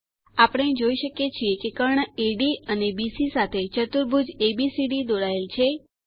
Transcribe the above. આપણે જોઇ શકીએ છીએ કે કર્ણ એડી અને બીસી સાથે ચતુર્ભુજ એબીસીડી દોરાયેલ છે